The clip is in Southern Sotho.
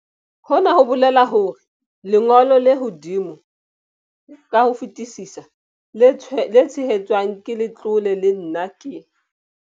Hona ho bolela hore lengo lo le hodimo ka ho fetisisa le tshehetswang ke letlole lena ke.